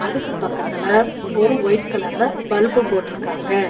அதுக்கு பக்கத்துல ஒரு வொய்ட் கலர்ல பல்பு போட்டுருக்காங்க.